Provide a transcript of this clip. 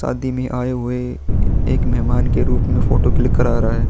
शादी में आए हुए एक मेहमान के रूप में फोटो क्लिक करवा रहा है।